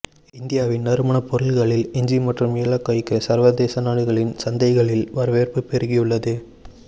இந்தியாவின் நறுமணப்பொருள்களில் இஞ்சி மற்றும் ஏலக்காய்க்கு சா்வதேச நாடுகளின் சந்தைகளில் வரவேற்பு பெருகியுள்ளது